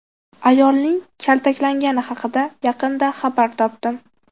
Ayolning kaltaklangani haqida yaqinda xabar topdim.